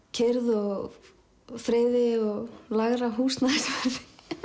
kyrrð og friði og lægra húsnæðisverði